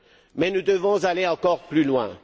Mais nous devons aller encore plus loin.